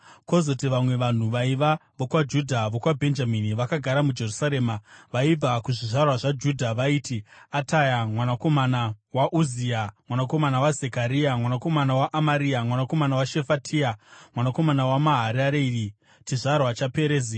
kwozoti vamwe vanhu vaiva vokwaJudha nokwaBhenjamini vakagara muJerusarema): Vaibva kuzvizvarwa zvaJudha vaiti: Ataya mwanakomana waUzia, mwanakomana waZekaria, mwanakomana waAmaria, mwanakomana waShefatia, mwanakomana waMaharareri, chizvarwa chaPerezi;